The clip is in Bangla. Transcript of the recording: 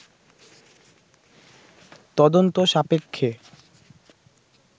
তদন্ত সাপেক্ষে